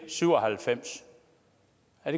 at